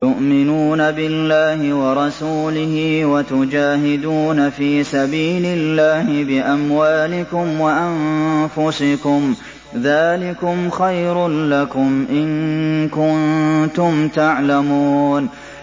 تُؤْمِنُونَ بِاللَّهِ وَرَسُولِهِ وَتُجَاهِدُونَ فِي سَبِيلِ اللَّهِ بِأَمْوَالِكُمْ وَأَنفُسِكُمْ ۚ ذَٰلِكُمْ خَيْرٌ لَّكُمْ إِن كُنتُمْ تَعْلَمُونَ